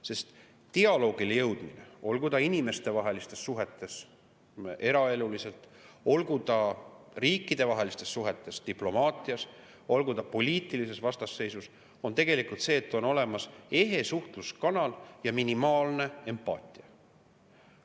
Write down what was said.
Sest dialoogile jõudmine, olgu ta inimestevahelistes suhetes eraeluliselt, olgu ta riikidevahelistes suhetes diplomaatias, olgu ta poliitilises vastasseisus, eeldab tegelikult seda, et on olemas ehe suhtluskanal ja minimaalne empaatia.